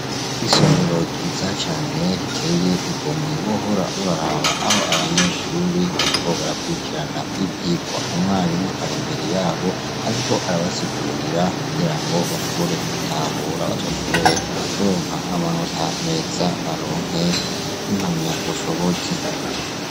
Isomero ryiza cane riteye igomwe wohora uraraba aho abanyeshure bariko barakwirikirana ivyirwa . Umwarimu ari imbere yabo, ariko arabasigurira kugirango bashobore gutahura bazoshobore kuronka amanota meza baronke impamyabushobozi .